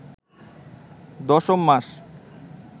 দশম মাস